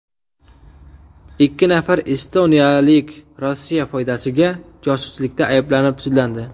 Ikki nafar estoniyalik Rossiya foydasiga josuslikda ayblanib, sudlandi.